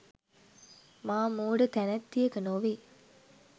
මා මෝඩ තැනැත්තියක නොවේ